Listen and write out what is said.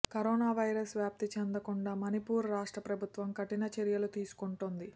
corona virus వ్యాప్తి చెందకుండా మణిపూర్ రాష్ట్ర ప్రభుత్వం కఠిన చర్యలు తీసుకుంటోంది